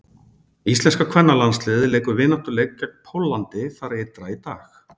Íslenska kvennalandsliðið leikur vináttuleik gegn Póllandi þar ytra í dag.